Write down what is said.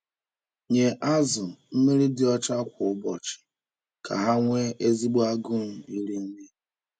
Nye azụ mmiri dị ọcha kwa ụbọchị ka ha nwee ezigbo agụụ iri nri.